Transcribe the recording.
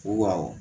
Wa awɔ